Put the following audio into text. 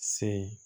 Se